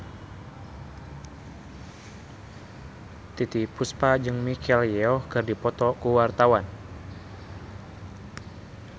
Titiek Puspa jeung Michelle Yeoh keur dipoto ku wartawan